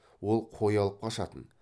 ол қой алып қашатын